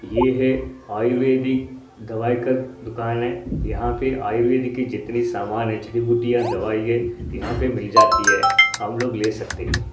ये है आयुर्वेदिक दवाई का दुकान है यहां पे आयुर्वेदिक की जितनी सामान है जड़ी बूटी दवाई यहां पर मिल जाती है हम लोग ले सकते हैं।